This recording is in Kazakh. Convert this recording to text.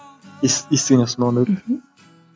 естіген жоқсың ба ондайды мхм